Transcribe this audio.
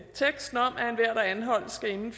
enhver der anholdes inden